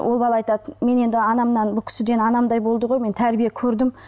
ол бала айтады мен енді анамнан бұл кісіден анамдай болды ғой мен тәрбие көрдім